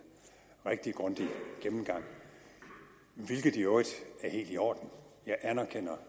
rigtig grundig gennemgang hvilket i øvrigt er helt i orden jeg anerkender